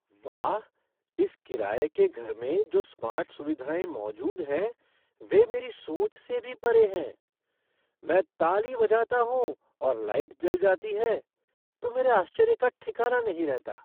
वाह, इस किराये के घर में जो स्मार्ट सुविधाएँ मौजूद हैं वे मेरी सोच से भी परे हैं। मैं ताली बजाता हूँ और लाइट जल जाती है तो मेरे आश्चर्य का ठिकाना नहीं रहता।